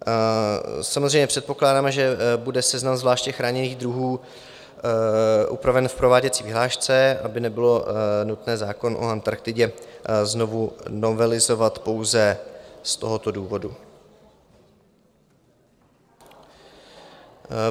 Samozřejmě předpokládáme, že bude seznam zvláště chráněných druhů upraven v prováděcí vyhlášce, aby nebylo nutné zákon o Antarktidě znovu novelizovat pouze z tohoto důvodu.